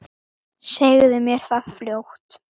Segðu mér það fljótt.